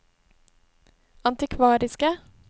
antikvariske